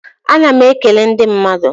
A na m e kele ndị mmadụ.